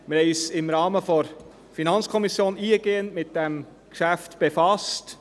Wir haben uns im Rahmen der FiKo eingehend mit diesem Geschäft befasst.